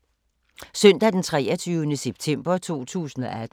Søndag d. 23. september 2018